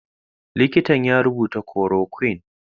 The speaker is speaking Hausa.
Likitan ya rubuta korokwin.